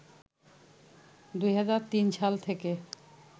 ২০০৩ সাল থেকে